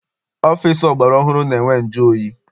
Ọfịịsi ọgbara ọhụrụ na-enwe njụoyi.